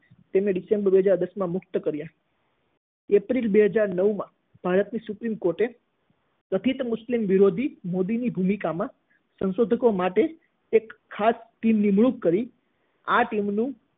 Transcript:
તેમને ડિસેમ્બર બે હાજર દસમાં મુક્ત કર્યા એપ્રિલ બે હાજર નવમાં, ભારતની સુપ્રિમ કોર્ટે કથિત મુસ્લિમ વિરોધી મોદીની ભૂમિકામાં સંશોધનો માટે એક ખાસ ટીમ નિમણૂક કરી. આ ટીમનું